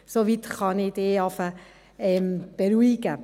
Soweit kann ich Sie beruhigen.